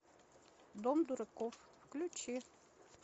дом дураков включи